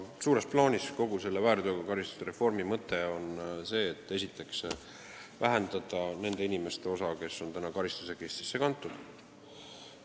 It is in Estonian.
Suures plaanis on kogu selle väärteokaristuste reformi mõte esiteks see, et vähendada nende inimeste hulka, kes on karistusregistrisse kantud.